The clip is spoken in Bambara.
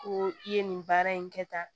Ko i ye nin baara in kɛ tan